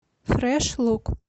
фрэш лук